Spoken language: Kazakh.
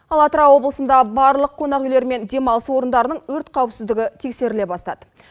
ал атырау облысында барлық қонақ үйлер мен демалыс орындарының өрт қауіпіздігі тексеріле бастады